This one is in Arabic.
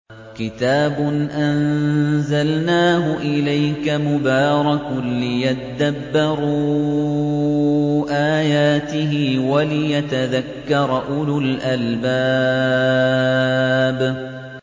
كِتَابٌ أَنزَلْنَاهُ إِلَيْكَ مُبَارَكٌ لِّيَدَّبَّرُوا آيَاتِهِ وَلِيَتَذَكَّرَ أُولُو الْأَلْبَابِ